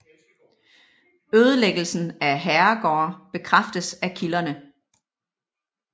Ødelæggelsen af herregårde bekræftes af kilderne